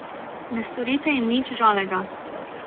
Ne storite jim nič žalega.